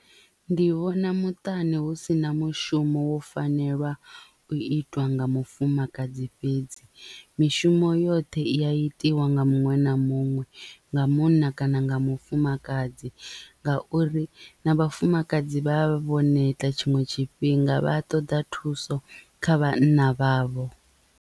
Ndi vhona muṱani hu sina mushumo wo fanelwa u itiwa nga mufumakadzi fhedzi mishumo yoṱhe i ya itiwa nga muṅwe na muṅwe nga munna kana nga mufumakadzi ngauri na vhafumakadzi vha vho neta tshiṅwe tshifhinga vha ṱoḓa thuso kha vhanna vhavho.